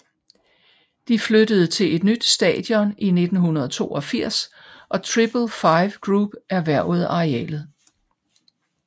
De flyttede til et nyt stadion i 1982 og Triple Five Group erhvervede arealet